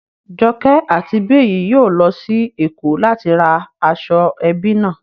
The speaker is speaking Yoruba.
Joke àti Biyi yóò lọ sí Èkó láti ra aṣọ ẹbí náà